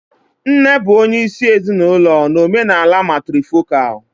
Nne bụ onye isi ezinụlọ na omenala matrifocal